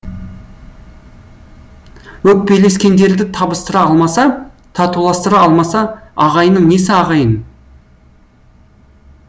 өкпелескендерді табыстыра алмаса татуластыра алмаса ағайынның несі ағайын